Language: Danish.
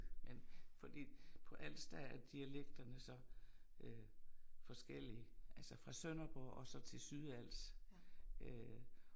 Men fordi på Als der er dialekterne så øh forskellige altså fra Sønderborg og så til Sydals øh